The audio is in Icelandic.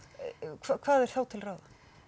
hvað er þá til ráða